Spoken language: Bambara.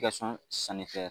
I ka